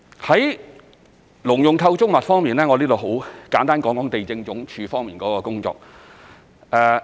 在農用構築物方面，我在這裏簡單談談地政總署的工作。